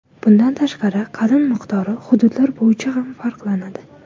Bundan tashqari, qalin miqdori hududlar bo‘yicha ham farqlanadi.